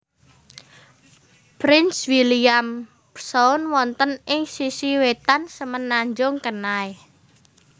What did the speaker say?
Prince William Sound wonten ing sisi wetan Semenanjung Kenai